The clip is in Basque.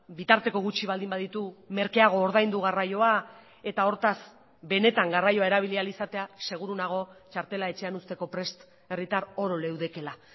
bitarteko gutxi baldin baditu merkeago ordaindu garraioa eta hortaz benetan garraioa erabili ahal izatea seguru nago txartela etxean uzteko prest herritar oro leudekeela